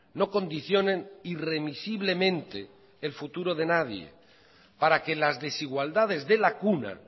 no condicionen irremisiblemente el futuro de nadie para que las desigualdades de la cuna